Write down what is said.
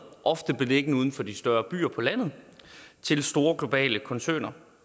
ofte beliggende uden for de større byer på landet til store globale koncerner